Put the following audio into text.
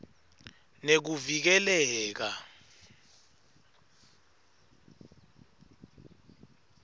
nekuvikeleka